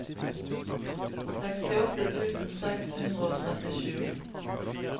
sekstiåtte tusen seks hundre og trettisju